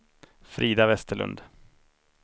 Frida Westerlund